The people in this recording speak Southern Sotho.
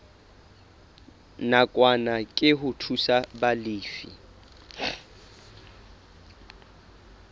nakwana ke ho thusa balefi